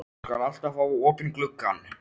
Ég skal alltaf hafa opinn gluggann.